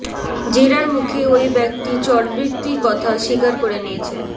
জেরার মুখে ওই ব্যক্তি চরবৃত্তির কথা শিকার করে নিয়েছেন